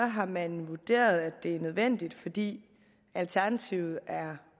har man vurderet at det er nødvendigt fordi alternativet er